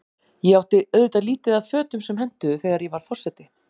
Ég átti auðvitað lítið af fötum sem hentuðu, þegar ég varð forseti.